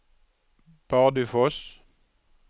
Bardufoss